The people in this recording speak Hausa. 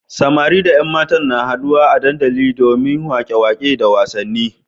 Samari da ƴan matan da na haɗuwa a dandali domin waƙe-waƙe da wasanni.